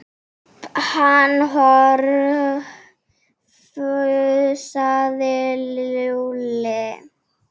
Halli hor fussaði Lúlli.